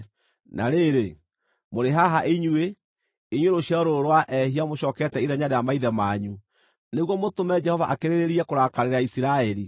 “Na rĩrĩ, mũrĩ haha inyuĩ, inyuĩ rũciaro rũrũ rwa ehia, mũcookete ithenya rĩa maithe manyu nĩguo mũtũme Jehova akĩrĩrĩrie kũrakarĩra Isiraeli.